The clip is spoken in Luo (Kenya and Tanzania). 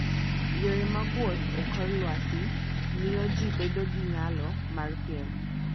Yore mag wuoth e kor lwasi miyo ji bedo gi nyalo mar piem.